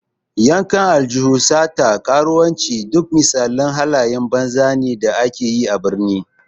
Yankan aljihu, sata, karuwanci, duk misalin halayen banza ne da ake yi a birni.